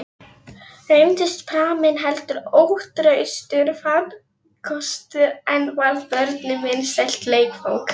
Reyndist pramminn heldur ótraustur farkostur, en varð börnunum vinsælt leikfang.